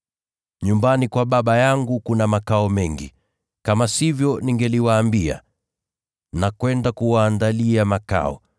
Nyumbani kwa Baba yangu kuna makao mengi. Kama sivyo, ningeliwaambia. Naenda kuwaandalia makao.